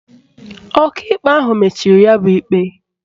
Ọkaikpe ahụ mechiri ya bụ ikpe